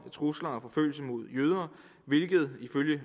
trusler og forfølgelser mod jøder hvilket ifølge